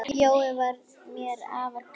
Jói var mér afar kær.